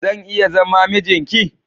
Zan iya zama mijin ki?